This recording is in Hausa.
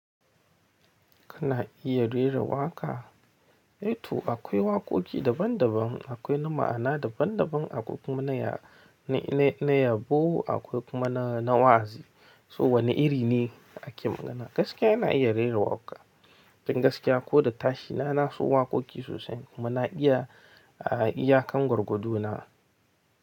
Kana iya rera waƙa? Eh to akwai waƙoƙi daban daban. Akwai na ma'ana daban daban, akwai kuma na yabo, akwai kuma na, na wa'azi. So wane iri ne ake magana? Gaskiya ina iya rera waƙa. Tun gaskiya ko da tashi na nasu waƙoƙi sosai. Muna iya, a iya kangqargwado na.